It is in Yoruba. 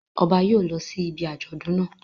Ọba yóò lọ sí ibi àjọ̀dún naa